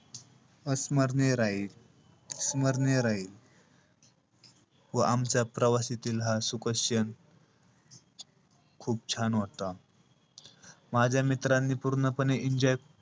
अस्मरणिय राहील. स्मरणीय राहील. व आमच्या प्रवासातील हा सुखद क्षण खूप छान होता. माझ्या मित्रांनी पूर्णपणे enjoy,